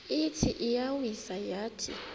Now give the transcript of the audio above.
ithi iyawisa yathi